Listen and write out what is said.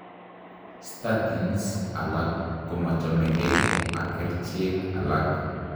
Statins alak komachomekee ak kercheek alak